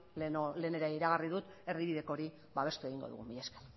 lehen ere iragarri dut erdibideko hori babestu egingo dugu mila esker